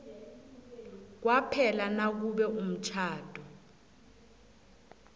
kwaphela nakube umtjhado